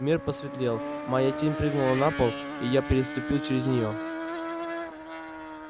мир посветлел моя тень прыгнула на пол и я переступил через неё